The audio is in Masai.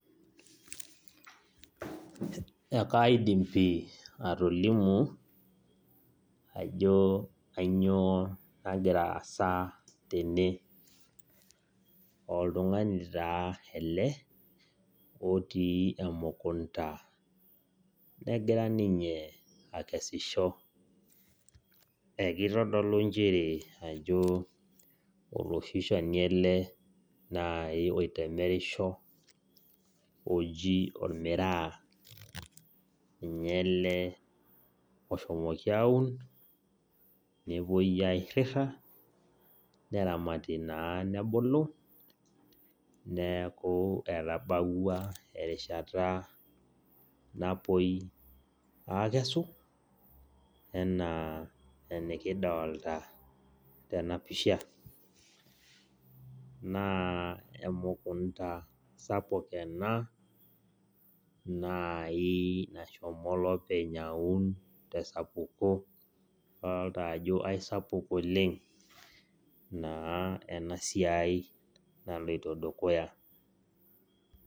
Ekaidim pi atolimu ajo kanyioo nagira aasa tene oltung'ani taa elee otii emukunta nagira ninye akeshisho eiketodolu inchere oloshi shani ele oitemerisho oji omiraa ninye ele oshomoki aaun nepuoi airira neramari naa nebulu neeku etabawua erishata napuoi aakesu enaa enikidolita tena pisha naa emukunta sapuk ena nashomo olopeny aun tesapuko adolita ajo aisapuk oleng naa ena siai naloito dukuya .